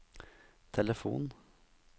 telefon